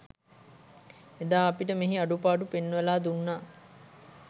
එදා අපිට මෙහි අඩුපාඩු පෙන්වලා දුන්නා